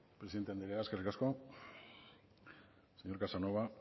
presidente anderea eskerrik asko señor casanova